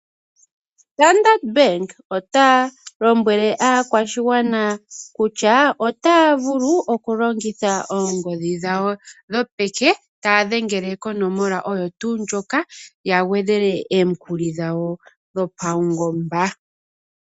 Standard Bank ota lombwele aakwashigwana kutya otaya vulu oku longitha oongodhi dhawo dhopeke taya dhengele konomola ooyo tuu ndjoka ya gwedhele omikuli dhawo dho pawungomba.